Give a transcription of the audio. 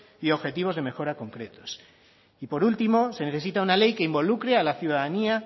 y objetivos de mejora concretos y por último se necesita una ley que involucre a la ciudadanía